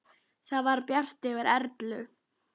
Það var bjart yfir Erlu.